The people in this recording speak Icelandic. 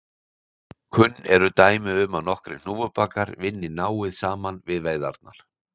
Kunn eru dæmi um að nokkrir hnúfubakar vinni náið saman við veiðarnar.